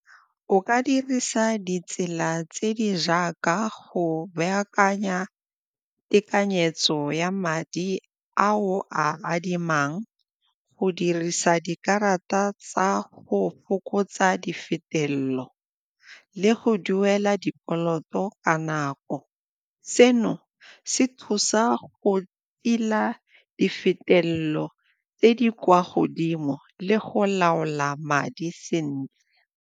O ka dirisa ditsela tse di jaaka go baakanya tekanyetso ya madi a o a adimang, go dirisa dikarata tsa go fokotsa di fetele pelo le go duela dikoloto ka nako. Seno se thusa go tila di fetelelo tse di kwa godimo le go laola madi sentle.